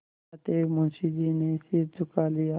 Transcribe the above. अतएव मुंशी जी ने सिर झुका लिया